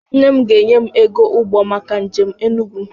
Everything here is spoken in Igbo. Nne m ga-enye m ego ụgbọ maka njem Enugwu m.